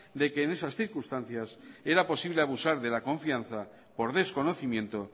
de que en esas circunstancias era posible abusar de la confianza por desconocimiento